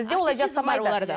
бізде олай жасамайды